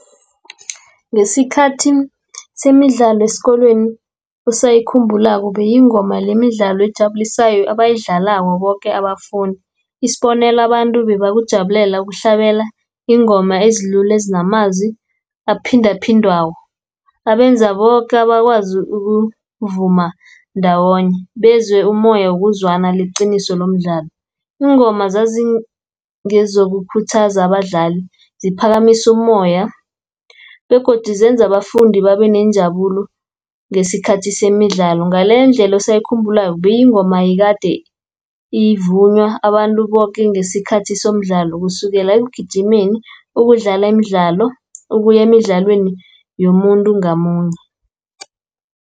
Ngesikhathi semidlalo esikolweni usayikhumbulako beyingoma nemidlalo ejabulisayo ebayidlalako boke abafundi. Isibonelo, abantu bebakujabulela yokuhlabela iingoma ezilula ezinamazwi aphindaphindwako. Abenza boke abakwazi ukuvuma ndawonye, bezwe umoya wokuzwana leqiniso lomdlalo. Iingoma zazingezokukhuthaza abadlali, ziphakamisa umoya, begodu zenza abafundi babenenjabulo ngesikhathi semidlalo. Ngaleyo ndlela osayikhumbulako bekuyingoma yekade ivunywa abantu boke ngesikhathi somdlalo, kusukela ekugijimeni, ukudlala imidlalo, ukuya emidlalweni yomuntu ngamunye.